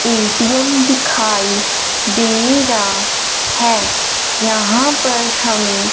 ATM दिखाएं दे रहा है यहां पर हमें--